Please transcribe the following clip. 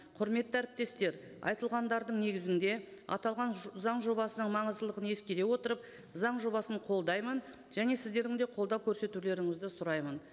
құрметті әріптестер айтылғандардың негізінде аталған заң жобасының маңыздылығын ескере отырып заң жобасын қолдаймын және сіздердің де қолдау көрсетулеріңізді сұраймын